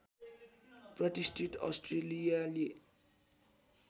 प्रतिष्ठित अस्ट्रेलियाली